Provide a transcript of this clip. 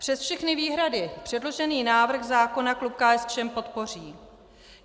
Přes všechny výhrady předložený návrh zákona klub KSČM podpoří.